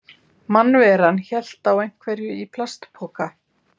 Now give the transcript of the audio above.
Mannveran hélt á einhverju í plastpoka.